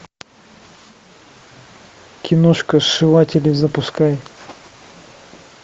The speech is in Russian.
киношка сшиватели запускай